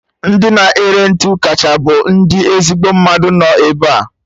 Ndị na-ere ntụ kacha bụ ndị ezigbo mmadụ nọ ebea